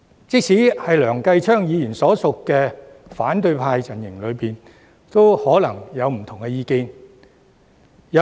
即使在梁繼昌議員所屬的反對派陣營中，也可能有不同的意見。